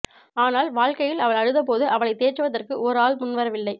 ஆனால் வாழ்க்கையில் அவள் அழுதபோது அவளைத் தேற்றுவதற்கு ஒரு ஆள் முன்வரவில்லை